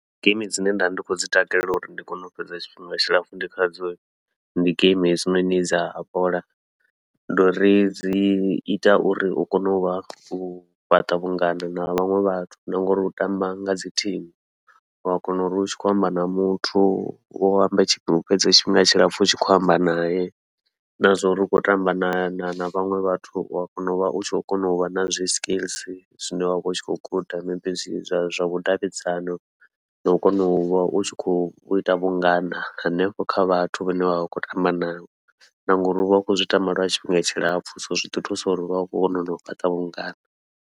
Geimi dzine nda ndi khou dzi takalela uri ndi kone u fhedza tshifhinga tshilapfhu ndi khadzo, ndi geimi hedzinoni dza bola ndi uri dzi ita uri u kone uvha u fhaṱa vhungana na vhaṅwe vhathu, na ngauri u tamba ngadzi thimu u wa kona uri u tshi khou amba na muthu u ambe tshifhinga u fhedza tshifhinga tshilapfhu u tshi khou amba nae. Na zwauri u khou tamba na na na vhaṅwe vhathu u wa kona uvha u tshi khou kona uvha na zwi skills zwine wavha u tshi khou guda, maybe zwi zwa zwa vhudavhidzano nau kona uvha u tshi khou ita vhungana hanefho kha vhathu vhane vha vha khou tamba navho, na ngauri uvha u khou zwi tamba lwa tshifhinga tshilapfhu so zwi ḓi thusa uri uvha u khou kona nau fhaṱa vhungana.